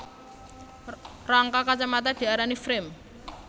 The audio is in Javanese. Rangka kacamata diarani frame